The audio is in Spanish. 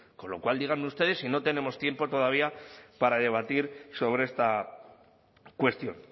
con lo cual díganme ustedes si no tenemos tiempo todavía para debatir sobre esta cuestión